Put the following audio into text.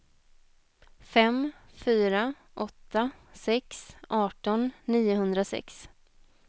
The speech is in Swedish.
fem fyra åtta sex arton niohundrasex